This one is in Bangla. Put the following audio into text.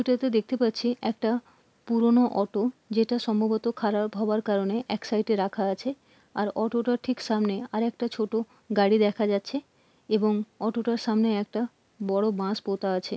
এটা তে দেখতে পাচ্ছি একটা পুরোনো অটো যেটা সম্ভবত খারাপ হওয়ার কারণে এক সাইড -এ রাখা আছে আর অটোটার ঠিক সামনে আর একটা ছোটো গাড়ি দেখা যাচ্ছে এবং অটোটার সামনে একটা বড়ো বাঁশ পোতা আছে।